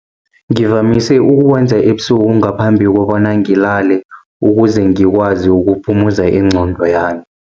Ngivamise ukuwenza ebusuku, ngaphambi kobana ngilale, ukuze ngikwazi ukuphumuza ingqondo yami.